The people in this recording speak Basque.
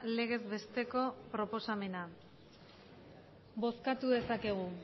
legezbesteko proposamena bozkatu dezakegu